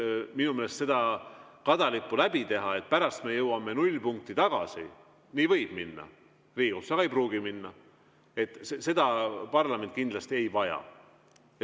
Minu meelest seda kadalippu läbi teha, et pärast me jõuame nullpunkti tagasi – nii võib minna Riigikohtus, aga ei pruugi minna –, seda parlament kindlasti ei vaja.